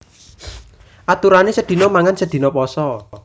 Aturanè sedina mangan sedina pasa